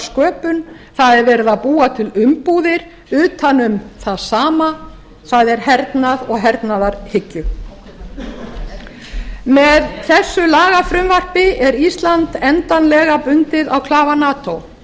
sköpun það er verið að búa til umbúðir utan um það sama það er hernað og hernaðarhyggju með þessu lagafrumvarpi er ísland endanlega bundið á klafa nato